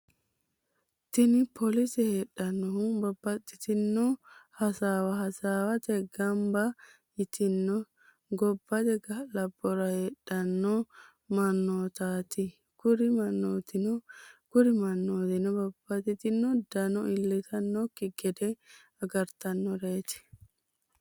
tini polise hedinohu babatitino hasawa hasawate ganiba yitino gobate galabora hedhano manotatai kuri manotino kuri manotino babatitino dano ilitanoki gede agaritanoret